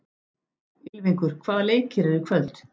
Ylfingur, hvaða leikir eru í kvöld?